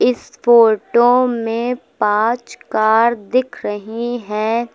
इस फोटो में पांच कार दिख रही हैं।